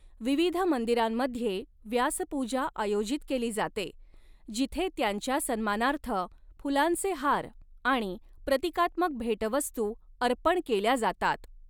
विविध मंदिरांमध्ये व्यासपूजा आयोजित केली जाते, जिथे त्यांच्या सन्मानार्थ फुलांचे हार आणि प्रतीकात्मक भेटवस्तू अर्पण केल्या जातात.